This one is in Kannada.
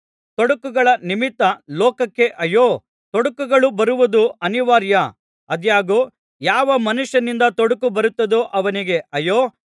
ತೊಡಕುಗಳ ನಿಮಿತ್ತ ಲೋಕಕ್ಕೆ ಅಯ್ಯೋ ತೊಡಕುಗಳು ಬರುವುದು ಅನಿವಾರ್ಯ ಆದಾಗ್ಯೂ ಯಾವ ಮನುಷ್ಯನಿಂದ ತೊಡಕು ಬರುತ್ತದೋ ಅವನಿಗೆ ಅಯ್ಯೋ